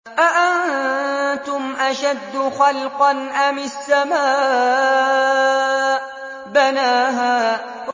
أَأَنتُمْ أَشَدُّ خَلْقًا أَمِ السَّمَاءُ ۚ بَنَاهَا